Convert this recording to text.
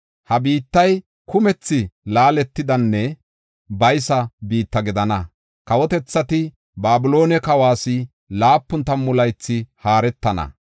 Ha biittay kumethi laaletidanne baysa biitta gidana; kawotethati Babiloone kawas laapun tammu laythi haaretana.